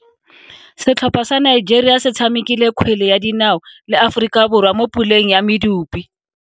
Setlhopha sa Nigeria se tshamekile kgwele ya dinao le Aforika Borwa mo puleng ya medupe.